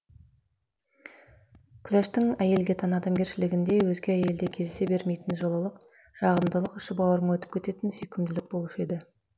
күләштің әйелге тән адамгершілігінде өзге әйелде кездесе бермейтін жылылық жағымдылық іші бауырыңа өтіп кететін сүйкімділік болушы еді